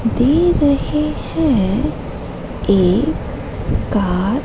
दे रहे हैं एक कार --